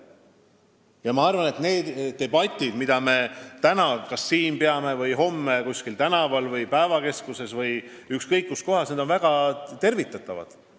Ja ma arvan, et need debatid, mida me peame täna siin või homme kuskil tänaval, päevakeskuses või ükskõik kus kohas, on väga tervitatavad.